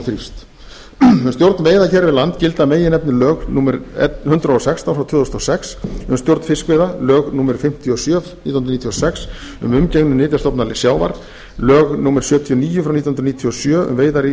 þrífst um stjórn veiða hér við land gilda að meginefni lög númer hundrað og sextán tvö þúsund og sex um stjórn fiskveiða lög númer fimmtíu og sjö nítján hundruð níutíu og sex um umgengni um nytjastofna sjávar lög númer sjötíu og níu nítján hundruð níutíu og sjö um veiðar í